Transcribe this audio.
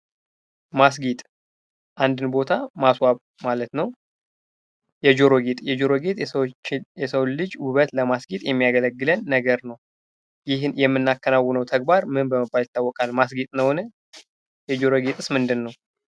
ማስጌጥ፤ አንድን ቦታ ማስዋብ ማለት ነው። የጆሮ ጌጥ፤ የጆሮ ጌጥ የሰውን ልጅ ውበት ለማስጌጥ የሚያገለግለን ነገር ነው። ይህን የምናከናውነው ተግባር ምን በመባልል ይታወቃል? ማስጌጥ ማለት፤ የጆሮ ጌጥስ ምንድነው?